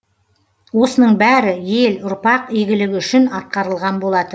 осының бәрі ел ұрпақ игілігі үшін атқарылған болатын